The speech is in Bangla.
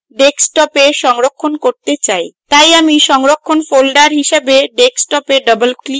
তাই আমি সংরক্ষণের folder হিসাবে desktop এ double click করব